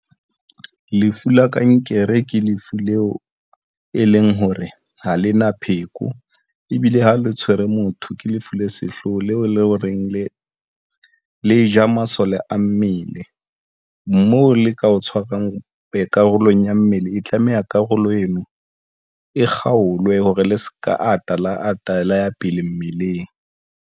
Lefu la kankere ke lefu leo e leng hore ha le na pheko ebile ha le tshwere motho ke lefu le sehlooho leo le ho reng le le ja masole a mmele mo le ka o tshwarang karolong ya mmele, e tlameha karolo eno e kgaolwe hore le se ka ata la ata la ya pele mmeleng.